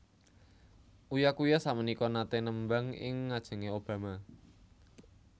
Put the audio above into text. Uya Kuya sakmenika nate nembang ing ngajenge Obama